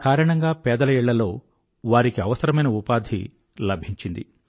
ఆ కారణంగా పేదల ఇళ్ళల్లో వారికి అవసరమైన ఉపాధి లభించింది